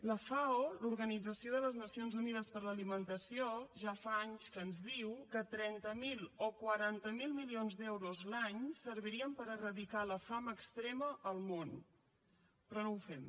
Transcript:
la fao l’organització de les nacions unides per a l’alimentació ja fa anys que ens diu que trenta miler o quaranta miler milions d’euros l’any servirien per eradicar la fam extrema al món però no ho fem